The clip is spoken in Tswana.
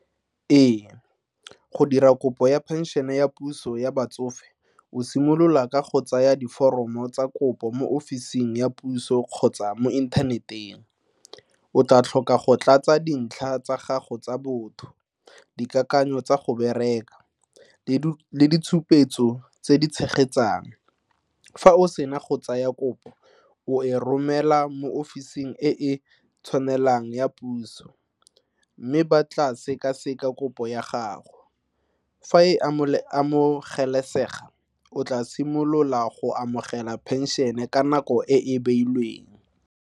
Ee, go dira kopo ya phenšene ya puso ya batsofe o simolola ka go tsaya diforomo tsa kopo mo ofising ya puso kgotsa mo inthaneteng, o tla tlhoka go tlatsa dintlha tsa gago tsa botho, dikakanyo tsa go bereka le ditshupetso tse di tshegetsang. Fa o sena go tsaya kopo o e romela mo ofising e tshwanelang ya puso mme ba tla sekaseka kopo ya gago. Fa e amogelesega o tla simolola go amogela pension-e ka nako e e beilweng.